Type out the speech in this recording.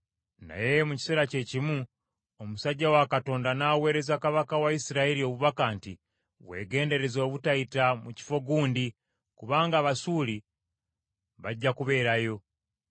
Naye mu kiseera kye kimu omusajja wa Katonda n’aweereza kabaka wa Isirayiri obubaka nti, “Weegendereze obutayita mu kifo gundi, kubanga Abasuuli bajja kubeerayo.”